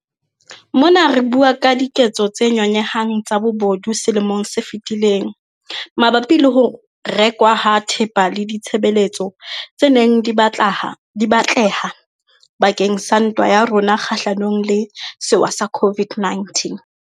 Mona re bua ka diketso tse nyonyehang tsa bobodu selemong se fetileng mabapi le ho rekwa ha thepa le ditshebeletso tse neng di batleha bakeng sa ntwa ya rona kgahlanong le sewa sa COVID-19.